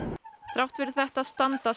þrátt fyrir þetta standa